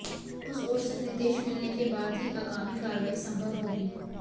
उस ओर से निर्देश मिलने के बाद ही आगामी कार्रवाई संभव होगी